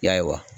Ya